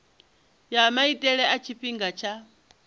ya maitele a tshifhinga tsha